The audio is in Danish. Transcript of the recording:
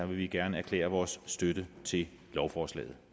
vi gerne erklære vores støtte til lovforslaget